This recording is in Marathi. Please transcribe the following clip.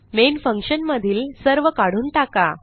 मेन फंक्शन मधील सर्व काढून टाका